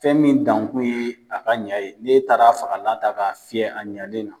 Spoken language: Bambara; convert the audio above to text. Fɛn min dankun ye a ka ɲa ye n'e taara fagalan ta ka fiyɛ a ɲalen na.